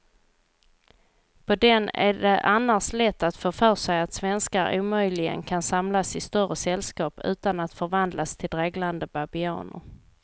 På den är det annars lätt att få för sig att svenskar omöjligen kan samlas i större sällskap utan att förvandlas till dreglande babianer.